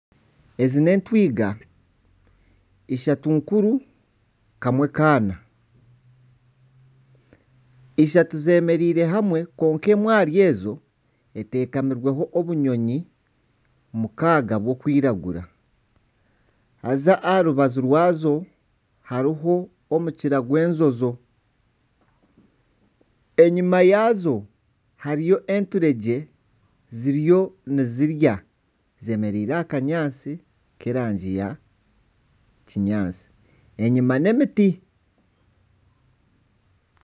Ezi n'entwiga ishatu nkuru, kamwe n'akaana, ishatu zemereire hamwe kwonka emwe ahari ezi etekamirweho obunyonyi mukaaga burikwiragura haza aha rubaju rwazo hariho omukira gw'enjojo. Enyima yazo hariyo enturegye ziriyo nizirya zemereire aha kanyaatsi k'erangi ya kinyaatsi. Enyima n'emiti.